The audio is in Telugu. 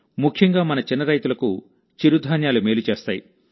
ముఖ్యంగా మన చిన్న రైతులకు చిరుధాన్యాలు మేలు చేస్తాయి